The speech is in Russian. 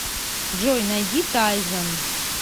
джой найди тайзон